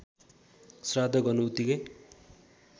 श्राद्ध गर्नु उतिकै